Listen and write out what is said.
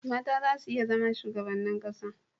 mata za su iya zama shugabannin ƙasa